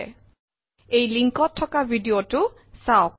httpspoken tutorialorgWhat is a Spoken Tutorial থকা video চাওক